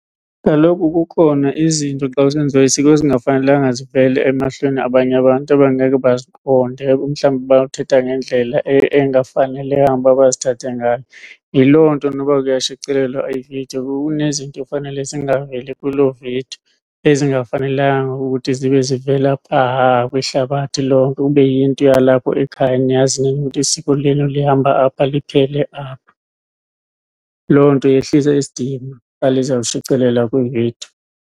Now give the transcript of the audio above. Kaloku kukhona izinto xa kusenziwa isiko ezingafanelanga zivele emehlweni wabanye abantu abangeke baziqonde, mhlawumbi bangathatha ngendlela engafanelanga ukuba bazithathe ngayo. Yiloo nto noba kuyashicilelwa ividiyo kunezinto ekufanele zingaveli kuloo vidiyo ezingafanelanga ukuthi zibe zivela phaa kwihlabathi lonke, kube yinto yalapho ekhaya niyazi nina isiko lenu lihamba apha liphele apha. Loo nto yehlisa isidima xa lizawushicilelwa kwividiyo.